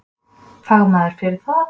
Fagmaður fyrir það.